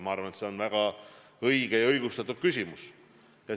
Ma arvan, et see on väga õigustatud küsimus.